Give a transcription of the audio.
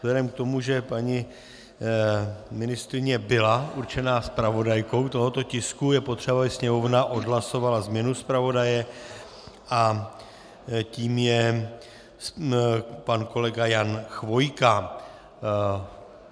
Vzhledem k tomu, že paní ministryně byla určena zpravodajkou tohoto tisku, je potřeba, aby Sněmovna odhlasovala změnu zpravodaje a tím je pan kolega Jan Chvojka.